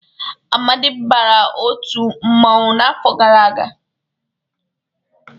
Amadị bara otu mmanwụ n'afọ gara aga.